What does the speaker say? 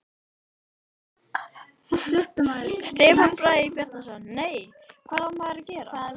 Stefán Bragi Bjarnason: Nei, en hvað á maður að gera?